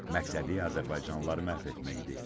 Məqsədi azərbaycanlıları məhv etmək idi.